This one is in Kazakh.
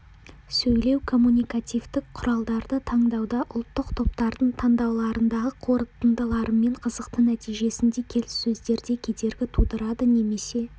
сөйлеу-коммуникативтік құралдарды таңдауда ұлттық топтардың таңдауларындағы қорытындыларымен қызықты нәтижесінде келіссөздерде кедергі тудырады немесе